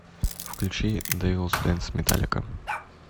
включи дэвилс дэнс металлика